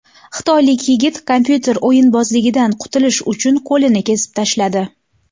Xitoylik yigit kompyuter o‘yinbozligidan qutulish uchun qo‘lini kesib tashladi.